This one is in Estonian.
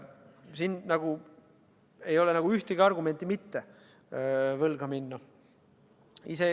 Siin ei ole ühtegi argumenti, et mitte võlga võtta.